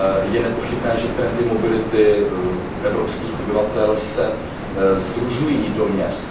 Je nepochybné, že trendy mobility evropských obyvatel se sdružují do měst.